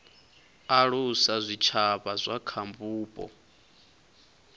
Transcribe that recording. alusa zwitshavha zwa kha vhupo